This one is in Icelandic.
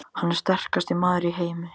Hann er sterkasti maður í heimi!